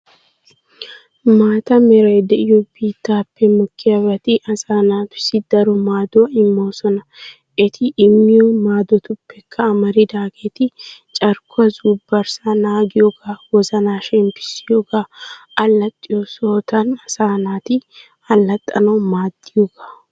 Maata meray de'iyo bittappe mokkiyabatti asa naatussi daro madduwa immoosona. Eti immiyo maddotuppekka amaridaageeti carkkuwa zubbarssa naagiyooga, wozana shemppissiyooga, allaxxiyoo sohottan asa naati allaxxanawu maddiyooga.